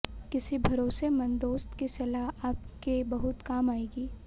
किसी भरोसेमंद दोस्त की सलाह आपके बहुत काम आयेगी